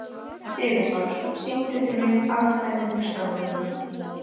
Sigurpáll, syngdu fyrir mig „Afkvæmi hugsana minna“.